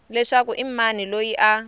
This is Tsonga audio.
leswaku i mani loyi a